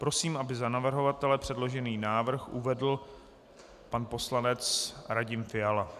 Prosím, aby za navrhovatele předložený návrh uvedl pan poslanec Radim Fiala.